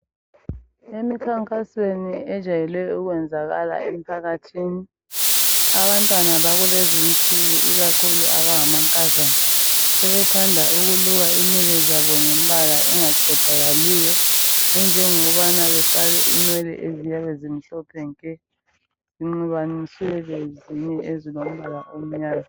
Emikhankasweni ejayele ukwenzakala emphakathini, abantwana bakulezi insiku ikakhulu abangamankazana sebethanda ukuluka inwele zabo ngembala engaqedakaliyo ejongokubana befake inwele eziyabe zimhlophe nke zinxubaniswe lezinye ezilombala omnyama.